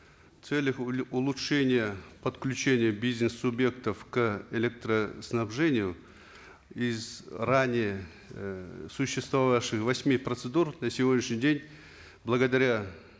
в целях улучшения подключения бизнес субъектов к электроснабжению из ранее э существовавших восьми процедур на сегодняшний день благодаря